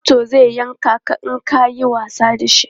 Zarto zai yanke ka in ka yi wasa da shi.